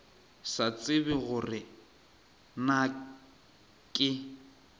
sa tsebe gore na ke